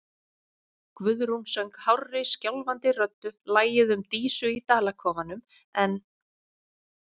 Guðrún söng hárri, skjálfandi röddu lagið um Dísu í Dalakofanum, en